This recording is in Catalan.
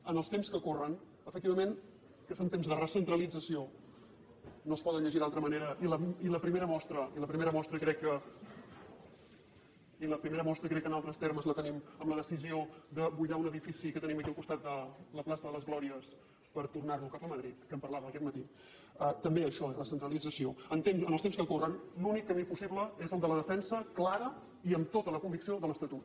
en els temps que corren que efectivament són temps de recentralització no es poden llegir d’altra manera i la primera mostra crec que en altres termes la te·nim amb la decisió de buidar un edifici que tenim aquí al costat a la plaça de les glòries per tornar·lo cap a madrid que en parlàvem aquest matí també això és recentralització en els temps que corren l’únic camí possible és el de la defensa clara i amb tota la convicció de l’estatut